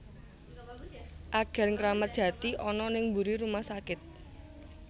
Agen Kramat Jati ana ning mburi rumah sakit